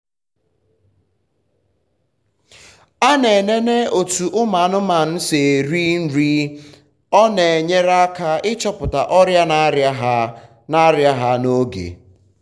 ana m enene otu ụmụ anụmanụ si eri nriọ na enyere m aka ịchọpụta ọria na aria ha aria ha n'oge.